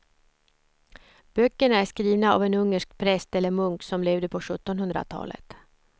Böckerna är skrivna av en ungersk präst eller munk som levde på sjuttonhundratalet.